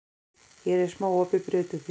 Hér er smá opið bréf til þín.